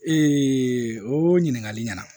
o ɲininkali ɲɛna